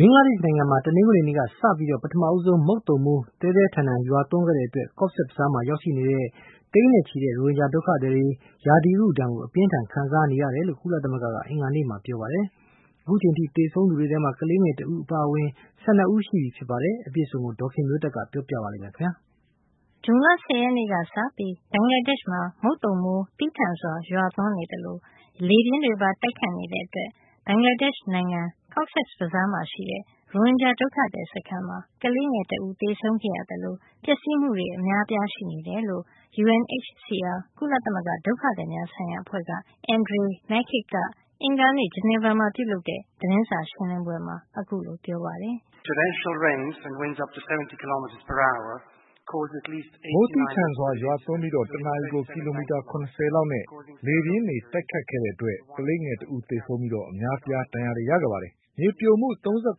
ဘင်္ဂလားဒေ့ရှ် နိုင်ငံမှာ တနင်္ဂနွေနေ့က စပြီး ပထမဆုံး မုတ်သုန်မိုးသည်းထန်စွာ ရွာသွန်းခဲ့တဲ့အတွက် ကော့ဇက်ဘဇားမှာ ရှိနေတဲ့ မြန်မာနိုင်ငံကနေ တိမ်းရှောင်လာတဲ့ သိန်းနဲ့ချီတဲ့ ရိုဟင်ဂျာ ဒုက္ခသည်တွေ ရာသီဥတုဒဏ်ကို အပြင်းအထန်ခံစားနေရတယ်လို့ ကုလသမဂ္ဂက အင်္ဂါနေ့က ပြောပါတယ်။ အခုအချိန်အထိ သေဆုံးသူက ကလေးငယ် တဦးအပါအဝင် ၁၂ ဦးရှိပြီဖြစ်ပါတယ်။ အပြည့်အစုံကို ဒေါ်ခင်မျိုးသက်ကပြောပြပေးမှာပါ။ ဇွန်လ ၁၀ ရက်နေ့ကစပြီး ဘင်္ဂလားဒေ့ရှ်မှာ မုတ်သုံမိုးသည်းထန်စွာ ရွာသွန်းနေသလို လေပြင်းတွေပါ တိုက်ခတ်တဲ့အတွက် ဘင်္ဂလားဒေ့ရှ် နိုင်ငံ ကော့ဇက်ဘဇားမှာရှိတဲ့ ရိုဟင်ဂျာ ဒုက္ခသည် စခန်းမှာ ကလေးငယ် တဦး သေဆုံးခဲ့ရသလို ပျက်စီးမှုတွေ အများအပြားရှိနေတယ်လို့ UNHCR ကုလသမဂ္ဂ ဒုက္ခသည်များဆိုင်ရာ အဖွဲ့က Andrej Mahecic က အင်္ဂါနေ့ ဂျနီဗာမှာ ပြုလုပ်တဲ့ သတင်းစာရှင်းလင်းပွဲမှာ ပြောပါတယ်။ " မိုးသည်းထန်စွာ ရွာသွန်းပြီး တနာရီကို ကီလိုမီတာ ၇၀ လောက်နဲ့ လေပြင်းတွေ တိုက်ခတ်ခဲ့တဲ့အတွက် ကလေးငယ် တဦးသေဆုံးပြီး အများအပြား ဒဏ်ရာတွေရခဲ့ပါတယ်။ မြေပြိုမှု ၃၇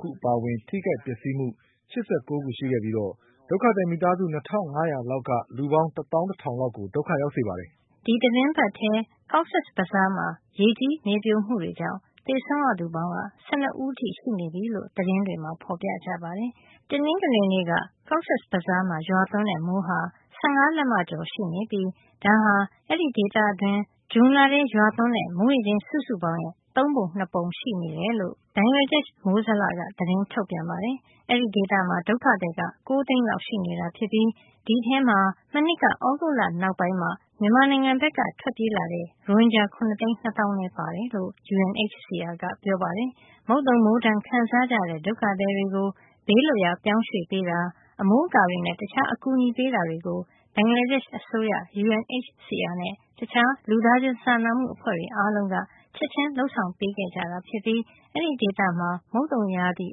ခုအပါအဝင် ထိခိုက်ပျက်စီးမှု ၈၉ ခုရှိခဲ့ပြီး ဒုက္ခသည် မိသားစု ၂၅၀၀ လောက်က လူပေါင်း တသောင်း တထောင် လောက်ကို ဒုက္ခရောက်စေပါတယ်။" ဒီသီတင်းပတ်ထဲ ကော့ဇက်ဘဇားမှာ ရေကြီးမြေပြိုမှုတွေကြောင့် သေဆုံးရသူပေါင်းက ၁၂ ဦးအထိ ရှိနေပြီလို့ သတင်းတွေမှာ ဖေါ်ပြကြပါတယ်။ တနင်္ဂနွေနေ့က ကော့ဇက်ဘဇားမှာ ရွာသွန်းတဲ့ မိုးဟာ ၁၅ လက်မ ကျော်ရှိနေပြီး ဒါဟာ အဲဒီဒေသတွင်း ဇွန်လရွာသွန်းတဲ့ မိုးရေချိန် စုစုပေါင်းရဲ့ သုံးပုံ ၂ ပုံရှိတယ်လို့ ဘင်္ဂလားဒေ့ရှ် မိုးဇလက သတင်းထုတ်ပြန်ပါတယ်။ အဲဒီဒေသမှာ ဒုက္ခသည် ၉ သိန်းလောက် ရှိနေပြီး ဒီအထဲမှာ မနှစ် သြဂုတ်လနောက်ပိုင်း မြန်မာနိုင်ငံဘက်က ထွက်ပြေးလာတဲ့ ရိုဟင်ဂျာ ၇ သိန်း ၂ သောင်းလဲပါတယ်လို့ UNHCR ကပြောပါတယ်။ မုတ်သုံမိုးဒဏ်ခံစားကြရတဲ့ ဒုက္ခသည်တွေကို ဘေးလွတ်ရာ ပြောင်းရွှေ့ပေးတာ၊ အမိုးအကာတွေနဲ့ တခြားအကူအညီ ပေးတာတွေကို ဘင်္ဂလာဒေ့ရှ်အစိုးရ၊ UNHCR နဲ့ တခြားလူသားချင်းစာနာမှု အဖွဲ့တွေအားလုံးက ချက်ချင်းလုပ်ဆောင်ပေးခဲ့ ကြတာဖြစ်ပြီး အဲဒီဒေသမှာ မုတ်သုန်ရာသီ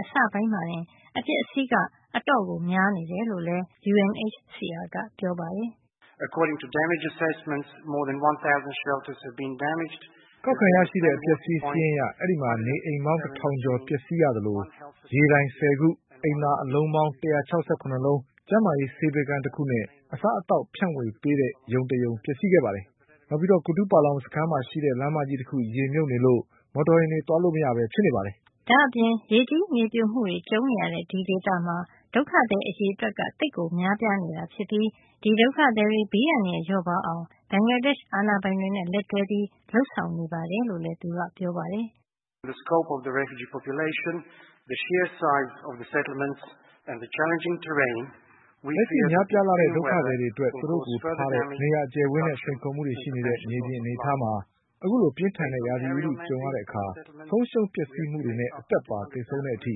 အစပိုင်းမှာတင် အပျက်အစီးက အတော်များနေတယ်လို့လည်း မစ္စတာ Mahecic က ပြောပါတယ်။ " ကောက်ခံရယူခဲ့တဲ့ အပျက်အစီး စာရင်းအရ အဲဒီမှာ နေအိမ်ပေါင်း တထောင်ကျော်ပျက်စီးရသလို ရေတိုင် ဆယ်ခု၊ အိမ်သာအလုံးပေါင်း ၁၆၇ လုံး၊ ကျန်းမာရေးဆေးပေးခန်း တခုနဲ့ အစားအသောက် ဖြန့်ဝေပေးတဲ့ ရုံတရုံ ပျက်စီးခဲ့ပါတယ်။ ဒါ့အပြင် ကူတူးပလောင်စခန်းမှာရှိတဲ့ လမ်းမကြီးတခု ရေမြုပ်နေတဲ့အတွက် ယာဉ်တွေသွားလို့ မရပဲ ဖြစ်နေပါတယ်။" ဒါ့အပြင် ရေကြီးမြေပြိုမှုတွေ ကြုံနေရတဲ့ ဒီဒေသမှာ ဒုက္ခသည်အရေအတွက်က သိပ်ကို များပြားနေတာ ဖြစ်ပြီး ဒီဒုက္ခသည်တွေ ဘေးအန္တရာယ် လျော့ပါးအောင် ဘင်္ဂလားဒေ့ရှ် အာဏာပိုင်တွေနဲ့ လက်တွဲပြီး ဆောင်ရွက်နေတယ်လို့ လည်း သူကပြောပါတယ်။ "လက်ရှိ များပြားလှတဲ့ ဒုက္ခသည်တွေအတွက် သူတို့ကိုထားတဲ့ နေရာအကျယ်အဝန်းနဲ့ စိန်ခေါ်မှုရှိနေတဲ့ မြေပြင်အနေအထားမှာ အခုလို ပြင်းထန်တဲ့ ရာသီဥတုကြုံရတဲ့အခါ ဆုံးရှုံးပျက်စီးမှုတွေနဲ့ အသက်ပါ သေဆုံးတဲ့အထိ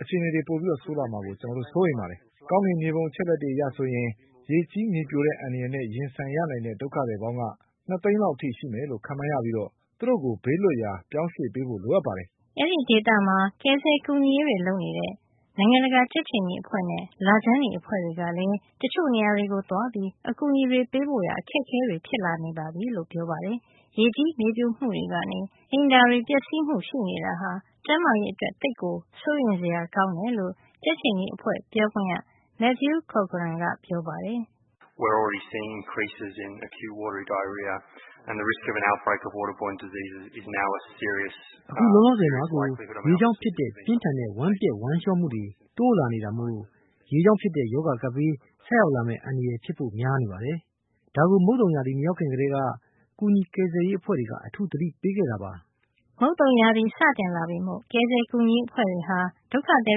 အခြေအနေတွေ ပိုဆိုးလာမှာကို ကျွန်တော်တို့ စိုးရိမ်ပါတယ်။ ကောင်းကင်မြေပုံ အချက်အလက်တွေအရ ဆိုရင် ရေကြီး မြေပြိုတဲ့ အန္တရာယ်နဲ့ ရင်ဆိုင်ရနိုင်တဲ့ ဒုက္ခသည်ပေါင်းက ၂ သိန်းလောက် အထိရှိမယ်လို့ ခန့်မှန်းရပြီး သူတို့ကို ဘေးလွတ်ရာ ပြောင်းရွှေ့ပေးဖို့ လိုအပ်ပါတယ်။" အဲဒီဒေသမှာ ကယ်ဆယ်ကူညီရေးတွေ လုပ်နေတဲ့ IFRC နိုင်ငံတကာ ကြက်ခြေနီအဖွဲ့နဲ့ လခြမ်းနီအဖွဲ့တွေကလည်း တချို့ နေရာတွေကို သွားပြီးအကူညီတွေ ပေးဖို့ အခက်အခဲတွေ ဖြစ်လာနေပြီလို့ ပြောပါတယ်။ ရေကြီးမြေပြိုမှုတွေနေ ရေအိမ်တွေ ပျက်စီးမှုရှိနေတာဟာ ကျန်းမာရေး အတွက်သိပ်ကိုစိုးရိမ်စရာ ကောင်းတယ်လို့ ကြက်ခြေနီအဖွဲ့ပြောခွင့်ရ Matthew Cochrane ကပြောပါတယ်။ " အခုလောလောဆယ်မှာကို ရေကြောင့်ဖြစ်တဲ့ ပြင်းထန်တဲ့ ဝမ်းပျက်ဝမ်းလျှောမှုတွေ တိုးလာနေတာမို့ ရေကြောင့်ဖြစ်တဲ့ ရောဂါကပ်ဘေး ဆိုက်ရောက်လာမယ့် အန္တရာယ် ဖြစ်ဖို့ များနေပါတယ်။ ဒါကို မုတ်သုံရာသီ မရောက်ခင် ကတည်းက ကယ်ဆယ်ကူညီရေး အဖွဲ့တွေက အထူးသတိပေးခဲ့တာပါ။" မုတ်သုံစတင်လာပြီမို့ ကယ်ဆယ်ကူညီရေး အဖွဲ့တွေဟာ ဒုက္ခသည်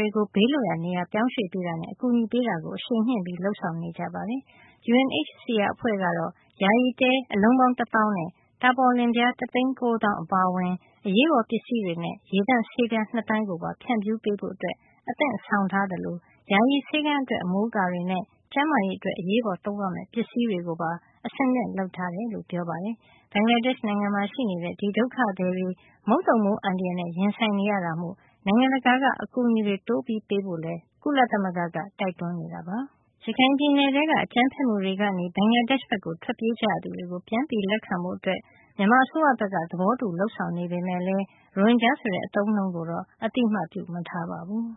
တွေကို ဘေးလွတ်ရာ နေရာရွှေ့ပြောင်းပေးတာ နဲ့ အကူအညီပေးတာကို အရှိန်မြှင့်လုပ်ဆောင်နေကြတာပါ။ UNHCR အဖွဲ့ကတော့ ယာယီတဲ အလုံးပေါင်းတသောင်းနဲ့ တာပေါ်လင်ပြား တသိန်း ၉ သောင်း အပါအဝင် အရေးပေါ်ပစ္စည်းတွေနဲ့ ရေသန့်ဆေးပြား ၂ သန်းကိုပါ ဖြန့်ဖြူးပေးဖို့ အသင့်ဆောင်ထားသလို ယာယီဆေးခန်းအတွက် အမိုးအကာတွေနဲ့ ကျန်းမာရေးအတွက် အရေးပေါ်သုံးရမယ့် ပစ္စည်းတွေကိုပါ အဆင်သင့်လုပ်ဆောင်ထားတယ်လို့လည်း ပြောပါတယ်။ ဘင်္ဂလားဒေ့ရှ် မှာရှိတဲ့ ဒုက္ခသည်တွေ မုတ်သုံမိုး အန္တရာယ်နဲ့ ရင်ဆိုင်နေရတာမို့ နိုင်ငံတကာက အကူညီတွေ တိုးပေးဖို့ ကုလသမဂ္ဂက တိုက်တွန်းနေတာပါ။ ရခိုင်ပြည်နယ်ထဲ အကြမ်းဖက်မှုတွေကနေ ဘင်္ဂလားဒေရှ့်ဘက်ကို ထွက်ပြေးကြရသူတွေကို ပြန်လည် လက်ခံဖို့ မြန်မာ အစိုးရဘက် သဘောတူ လုပ်ဆောင်နေပမယ့်လည်း ရိုဟင်ဂျာဆိုတဲ့ အသုံးအနှုန်းကိုတော့ အသိအမှတ်ပြုမထားပါဘူး။